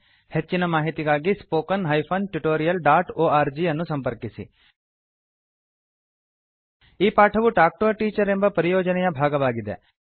ಹೆಚ್ಚಿನ ಮಾಹಿತಿಗಾಗಿ spoken hyphen tutorial dot org ಅನ್ನು ಸಂಪರ್ಕಿಸಿ ಈ ಪಾಠವು ಟಾಲ್ಕ್ ಟಿಒ a ಟೀಚರ್ ಎಂಬ ಪರಿಯೋಜನೆಯ ಭಾಗವಾಗಿದೆ